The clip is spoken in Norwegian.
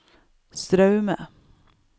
Straume